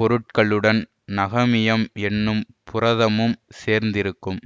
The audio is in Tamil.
பொருள்களுடன் நகமியம் என்னும் புரதமும் சேர்ந்திருக்கும்